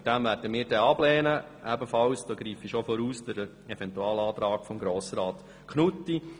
Aus diesem Grund werden wir ihn ablehnen, ebenfalls – und damit greife ich vor – den Eventualantrag von Grossrat Knutti.